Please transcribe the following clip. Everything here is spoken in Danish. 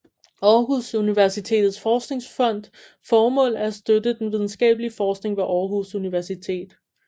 Aarhus Universitets Forskningsfonds formål er at støtte den videnskabelige forskning ved Aarhus Universitet